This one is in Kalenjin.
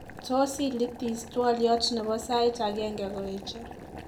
tonsillitis twolyot nebo said agenye koeche